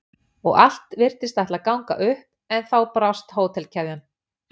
og allt virtist ætla að ganga upp en þá brást hótelkeðjan.